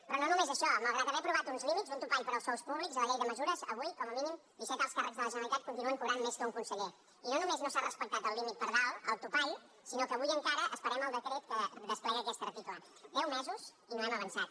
però no només això malgrat haver aprovat uns límits un topall per als sous públics a la llei de mesures avui com a mínim disset alts càrrecs de la generalitat continuen cobrant més que un conseller i no només no s’ha respectat el límit per dalt el topall sinó que avui encara esperem el decret que desplega aquest article deu mesos i no hem avançat